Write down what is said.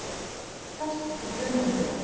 Festist í brunastiga